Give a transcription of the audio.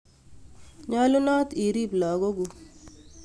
Nyolunot iriip lagokuk